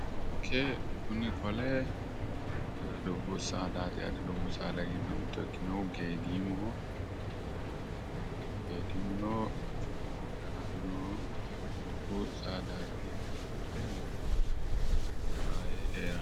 koye kuni qole dubbu saada yaate dubbu saada giddo mittto ikkinohu geedimoho geedimuno galannohu dubbu saadaati yineemmo wote ..